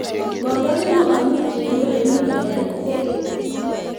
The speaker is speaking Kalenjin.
komwai kipwangutik kole imuch kolal kokeny